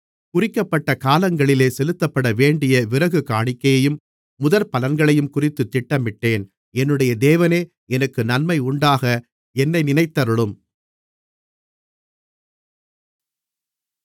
குறிக்கப்பட்ட காலங்களிலே செலுத்தப்படவேண்டிய விறகு காணிக்கையையும் முதற்பலன்களையுங்குறித்துத் திட்டமிட்டேன் என்னுடைய தேவனே எனக்கு நன்மையுண்டாக என்னை நினைத்தருளும்